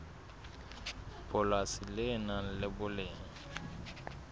polasi le nang le boleng